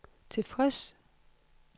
tilfreds